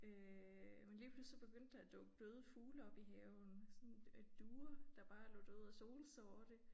Øh men lige pludselig så begyndte der at dukke døde fugle op i haven sådan øh duer der bare lå døde og solsorte